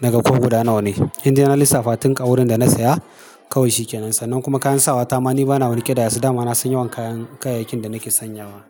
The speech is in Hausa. naga ko guda nawa ne. Indai na lissafa tun kawurin da na saya kawai shi ke nan san. Nan kuma kayan sawa ta ma ni bana wani ƙidaya su, dama ma na son yawan kayan kayayyakin da nake sanyawa.